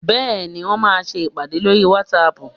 Bẹ́ẹ̀ni, Wọ́n máa ṣe ìpàdé lórí whatsapp